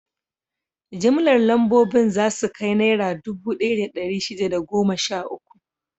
Jimllar lambobin za su kai Naira dubu ɗaya da ɗari shida da goma sha uku.